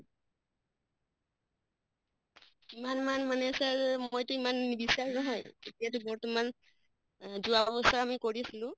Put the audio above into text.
কিমান মান মানে sir মইটো ইমান নিবিচাৰো হয় এতিয়াটো বৰ্তমান যোৱা বছৰ আমি কৰিছিলো